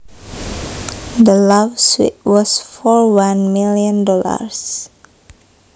The law suit was for one million dollars